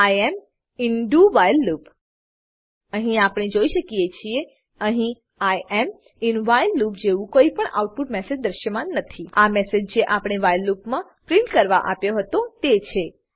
I am in do while loop અહી આપણે જોઈએ શકીએ છીએ અહી I am in while loop જવું કોઈ પણ આઉટપુટ મેસેજ દ્રશ્યમાન નથી આ મેસેજ જે આપણે વ્હાઈલ લૂપમા પ્રિન્ટ કરવા આપ્યો હતો તે છે